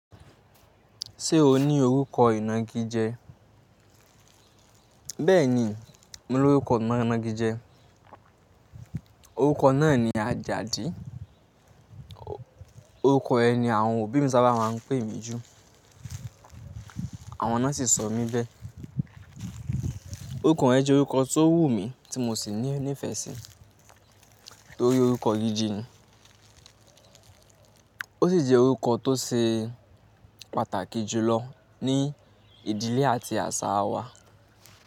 Ṣé o ní orúkọ ìna igi jẹ? Bẹ́ẹ̀ni, mo ní orúkọ ìna igi jẹ. Orúkọ náà ni Àjàdí. Orúkọ ẹni àwọn òbí mi sábà máa ń pè mí jù. Àwọn náà sì sọ mí bẹ́. Orúkọ yẹn jẹ́ orúkọ tó wù mí tí mo sì ní ìfẹ́ síi torí orúkọ gidi ni. Ó sì jẹ́ orúkọ tó ṣe pàtàkì jù lọ ní ìdílé àti àṣà wa.